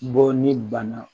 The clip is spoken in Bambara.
Bɔ ni bana